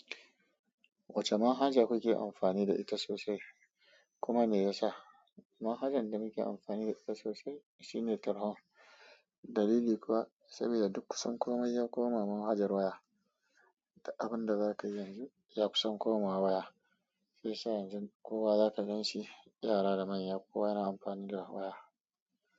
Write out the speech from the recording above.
Wacce manhaja kuke amfani da ita sosai? Kuma me yasa? Manhajan da muke amfani da ita sosai shine Telegram. Dalili kuwa saboda duk kusan komai ya koma manhajar waya, da abinda zaka yi yanzu ya kusan komawa waya. Shiyasa sai yanzu kowa zaka ganshi, yara da manya kowa yana amfani da waya.